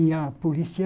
E a polícia...